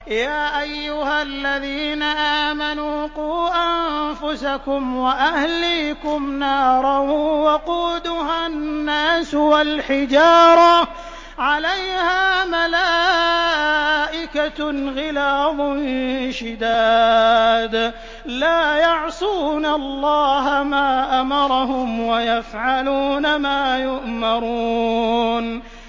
يَا أَيُّهَا الَّذِينَ آمَنُوا قُوا أَنفُسَكُمْ وَأَهْلِيكُمْ نَارًا وَقُودُهَا النَّاسُ وَالْحِجَارَةُ عَلَيْهَا مَلَائِكَةٌ غِلَاظٌ شِدَادٌ لَّا يَعْصُونَ اللَّهَ مَا أَمَرَهُمْ وَيَفْعَلُونَ مَا يُؤْمَرُونَ